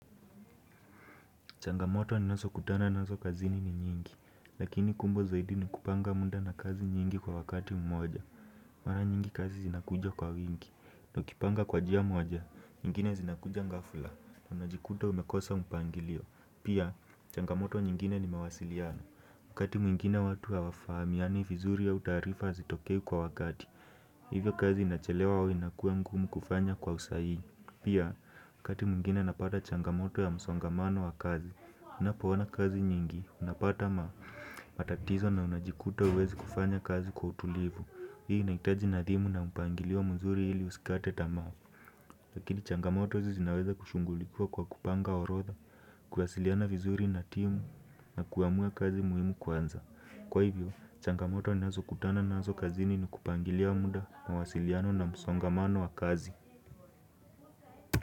Changamoto ninazokutana nazo kazini ni nyingi, lakini kumbo zaidi ni kupanga muda na kazi nyingi kwa wakati mmoja. Mara nyingi kazi zinakuja kwa wingi, na ukipanga kwa njia mmoja, nyingine zinakuja ghafla, na unajikuta umekosa mpangilio. Pia, changamoto nyingine ni mawasiliano, wakati mwingine watu hawafahamiani vizuri au taarifa hazitokei kwa wakati, hivyo kazi inachelewa au inakua mgumu kufanya kwa usahihi. Pia, wakati mwigine napata changamoto ya msongamano wa kazi, ninapoonaa kazi mingi, unapata matatizo na unajikuta huwezi kufanya kazi kwa utulivu. Hii inaitaji nadhimu na upangilio mzuri ili usikate tamaa. Lakini changamoto hizi zinaweza kushungulikua kwa kupanga orodha, kuwasiliana vizuri na timu na kuamua kazi muhimu kwanza. Kwa hivyo, changamoto ninazokutana nazo kazini ni kupangilia muda na wasiliano na msongamano wa kazi.